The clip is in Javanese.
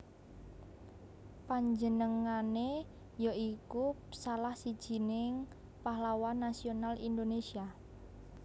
Panjenengané ya iku salah sijining pahlawan nasional Indonésia